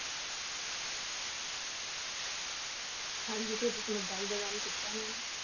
ਹਾਂਜੀ ਇੱਥੇ ਸਮਝਦਾਰੀ ਦਾ ਕੰਮ ਕੀਤਾ ਨਾ ਇਹਨੇ ਨਾ